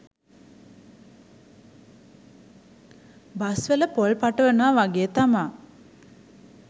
bus වල පොල් පටවනවා වගේ තමා